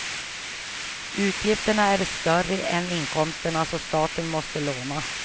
Utgifterna är större än inkomsterna, så staten måste låna.